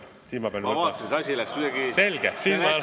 Ma vaatasin, et see asi läks kuidagi nii sujuvalt ...